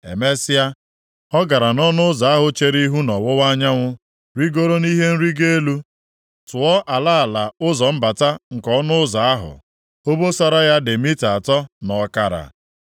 Emesịa, ọ gara nʼọnụ ụzọ ahụ chere ihu nʼọwụwa anyanwụ, rigoro nʼihe nrigo elu, tụọ ala ala ụzọ mbata nke ọnụ ụzọ ahụ. Obosara ya dị mita atọ na ọkara.